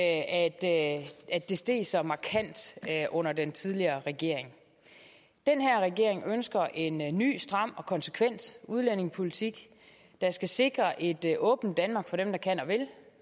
at det steg så markant under den tidligere regering den her regering ønsker en en ny stram og konsekvent udlændingepolitik der skal sikre et et åbent danmark for dem der kan og vil